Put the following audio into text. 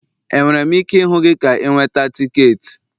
Enwere m ike ịhụ gị ka ị nweta tiketi?